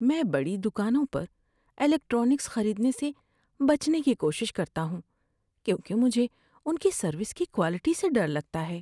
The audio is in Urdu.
میں بڑی دکانوں پر الیکٹرانکس خریدنے سے بچنے کی کوشش کرتا ہوں کیونکہ مجھے ان کی سروس کی کوالٹی سے ڈر لگتا ہے۔